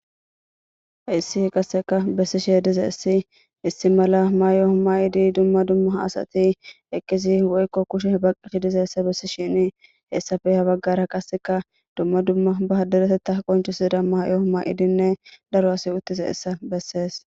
Hayssi qasseka issi mala mayo mayidi dumma dumma mayidi woyikko kushe baqqizaysa bessishin hessappe ha baggara qasse ba deretetha qoncisiza mayo ma7idi uttizaysa bessees.